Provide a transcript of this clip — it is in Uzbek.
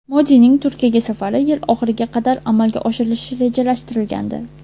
Modining Turkiyaga safari yil oxiriga qadar amalga oshirilishi rejalashtirilgandi.